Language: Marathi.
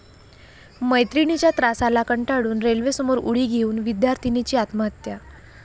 मैत्रिणीच्या त्रासाला कंटाळून रेल्वेसमोर उडी घेऊन विद्यार्थीनीची आत्महत्या